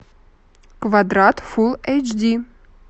квадрат фул эйч ди